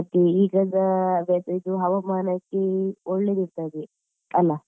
ಮತ್ತೆ ಈಗದ ಅದೇ ಇದು ಹವಾಮಾನಕ್ಕೆ ಒಳ್ಳೆದಿರ್ತದೆ ಅಲ್ಲಾ?